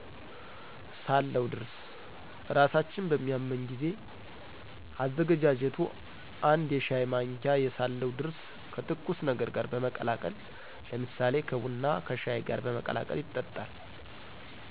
ሳለው ድርስ' እራሳችን በሚያመን ጊዜ. አዛገጃጀቱ አንድ የሻይ ማንኪያ የሳለሁ ድርሰ ከትኩስ ነገር ጋር በመቀላቀል ለምሳሌ ከቡና፣ ከሻይ ጋር በመቀላቀል ይጠጣል።